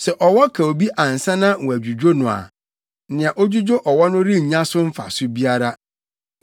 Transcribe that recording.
Sɛ ɔwɔ ka obi ansa na wɔadwudwo no a nea odwudwo ɔwɔ no rennya so mfaso biara.